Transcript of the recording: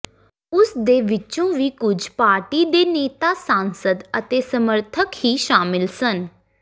ਉਸ ਦੇ ਵਿੱਚੋ ਵੀ ਕੁਝ ਪਾਰਟੀ ਦੇ ਨੇਤਾ ਸਾਂਸਦ ਅਤੇ ਸਮਰਥਕ ਹੀ ਸ਼ਾਮਿਲ ਸਨ